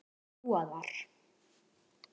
Dúa þar.